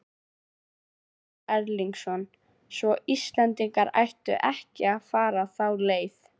Ásgeir Erlendsson: Svo Íslendingar ættu ekki að fara þá leið?